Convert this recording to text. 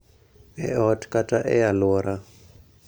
E ot kata e alwora